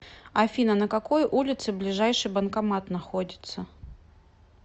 афина на какой улице ближайший банкомат находится